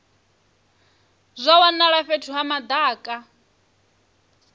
zwa wanala fhethu ha madaka